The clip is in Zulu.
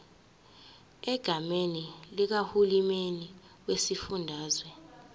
egameni likahulumeni wesifundazwe